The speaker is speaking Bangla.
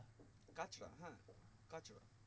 কাঁচরা হ্যাঁ কাঁচরা